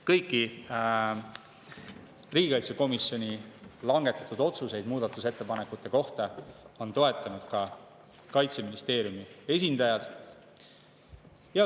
Kõiki riigikaitsekomisjoni langetatud otsuseid muudatusettepanekute kohta toetasid ka Kaitseministeeriumi esindajad.